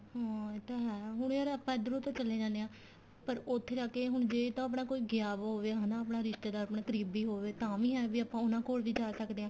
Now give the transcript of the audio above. ਹਮ ਇਹ ਤਾਂ ਹੈ ਹੁਣ ਯਾਰ ਆਪਾਂ ਇੱਧਰੋ ਤਾਂ ਚਲੇ ਜਾਨੇ ਆ ਪਰ ਉੱਥੇ ਜਾ ਕੇ ਹੁਣ ਜੇ ਤਾਂ ਆਪਣਾ ਗਿਆ ਪਿਆ ਹੋਵੇ ਹਨਾ ਆਪਣਾ ਰਿਸ਼ਤੇਦਾਰ ਆਪਣਾ ਕਰੀਬੀ ਹੋਵੇ ਤਾਂ ਵੀ ਏ ਵੀ ਆਪਾਂ ਉਹਨਾ ਕੋਲ ਵੀ ਜਾ ਸਕਦੇ ਆ